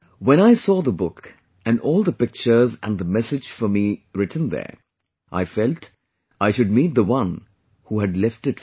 When I saw the book and all the pictures and the message for me written there, I felt l should meet the one who had left it for me